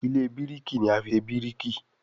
Ilé biriki ní a fí ṣe biriki.